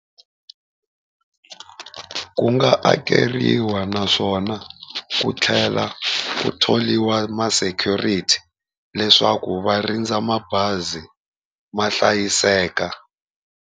Ku nga akeriwa, naswona ku tlhela ku thoriwa ma-security leswaku va rindza mabazi ma hlayiseka.